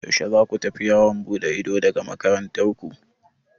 Yaushe za ku tafi yawon buɗe ido daga makarantar ku?